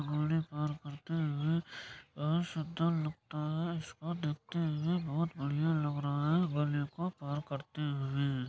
और ये सुन्दर लगता है इसको देखते हुए बहुत बढ़िया लग रहा है